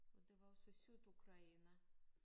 Og det var jo så Sydukraine